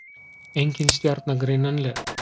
Engin stjarna greinanleg.